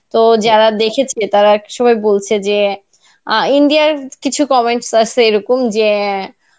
তো যারা দেখেছে তারা আরকি সবাই বলছে যে আ India র কিছু command আসে এইরকম যে